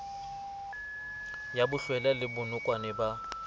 ya bohlwela le bonokwane bo